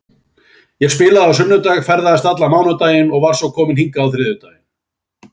Ég spilaði á sunnudag, ferðaðist allan mánudaginn og var svo komin hingað á þriðjudaginn.